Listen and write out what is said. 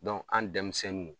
Dɔn an denmisɛnnu